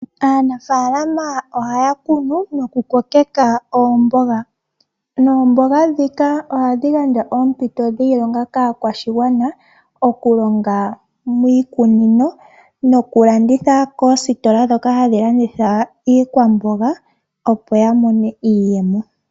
Aanafaalama ohaya kunu nokukokeka oomboga, noomboga dhika ohadhi gaandja oompito dhiilonga kaakwashigwana okulonga miikunino nokulanditha miikunino nokulanditha koositola ndhoka hadhi landitha iikwamboga opo yamone iiyemo.